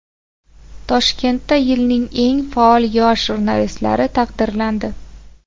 Toshkentda yilning eng faol yosh jurnalistlari taqdirlandi .